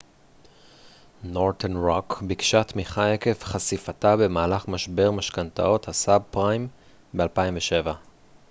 נורת'רן רוק ביקשה תמיכה עקב חשיפתה במהלך משבר משכנתאות הסאב-פריים ב-2007